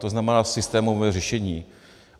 To znamená, systémové řešení.